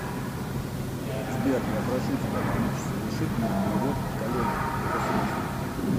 сбер я прошу тебя помочь совершить мне перевод коллеге это срочно